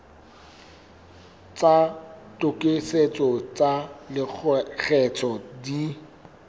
tsa tokisetso tsa lekgetho di